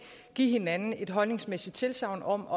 give hinanden et holdningsmæssigt tilsagn om